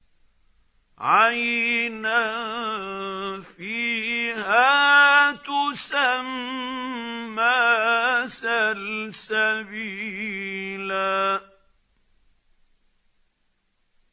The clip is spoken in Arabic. عَيْنًا فِيهَا تُسَمَّىٰ سَلْسَبِيلًا